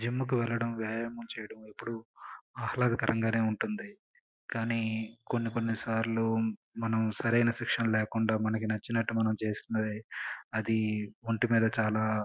Gym కి వెళ్లడం వ్యాయామం చేయడం ఎప్పుడు మాట్లాడతకరంగానే ఉంటుంది. కానీ మనకి సరైన శిక్షణ లేకుండా నచ్చినట్లు చేస్తే మనకు ఒంటి మీద చాలా విపరీతమైన ఎఫెక్ట్లు చూపించే మంచిగ బదులు చెడు చూపిస్తుంది.